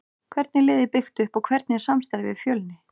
Hvernig er liðið byggt upp og hvernig er samstarfið við Fjölni?